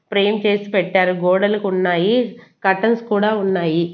Frame చేసి పెట్టారు గోడలకున్నాయి కర్టెన్స్ కూడా ఉన్నాయి.